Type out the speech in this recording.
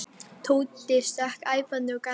Tóti stökk fram æpandi og gargandi.